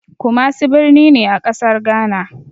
Kumasi birni ne a ƙasar Gana.